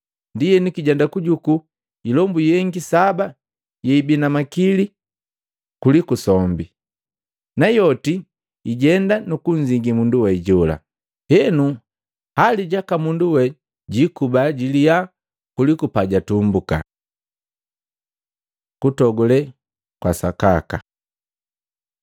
Ndienu kijenda kujuku hilombu yengi saba yeibi na makili kuliku sombi. Nayoti hijenda nukunzingi mundu we jola. Henu hali jaka mundu we jikuba jiliha kuliku pajatumbuka.” Kutogule kwa sakaka